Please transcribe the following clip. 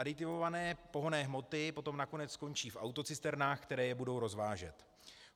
Aditivované pohonné hmoty potom nakonec skončí v autocisternách, které je budou rozvážet.